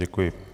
Děkuji.